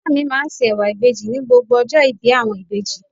Ìyá mi máa ń se ẹwà ìbejì ní gbogbo ọjọ́ ìbí àwọn ìbejì.